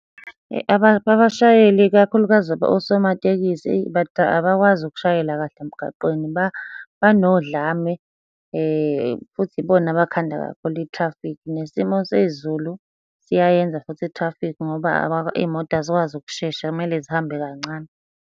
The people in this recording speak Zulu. Abashayeli ikakhulukazi osomatekisi, abakwazi ukushayela kahle emgaqweni banodlame, futhi ibona abakhanda kakhulu i-traffic. Nesimo sezulu siyayenza futhi i-traffic ngoba iy'moto azikwazi ukushesha kumele zihambe kancane.